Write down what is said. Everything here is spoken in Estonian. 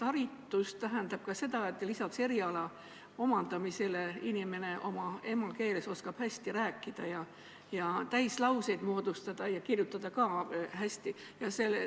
Haritus tähendab ka seda, et lisaks eriala omandamisele oskab inimene oma emakeeles hästi rääkida, täislauseid moodustada, ja ka hästi kirjutada.